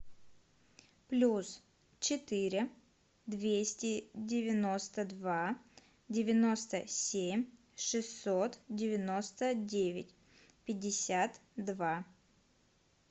плюс четыре двести девяносто два девяносто семь шестьсот девяносто девять пятьдесят два